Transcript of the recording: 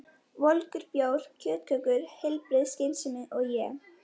Volgur bjór, kjötkökur, heilbrigð skynsemi og ég.